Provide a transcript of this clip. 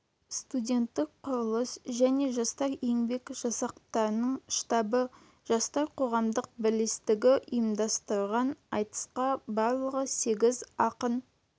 студенттік құрылыс жне жастар еңбек жасақтарының штабы жастар қоғамдық бірлестігі ұйымдастырған айтысқа барлығы сегіз ақын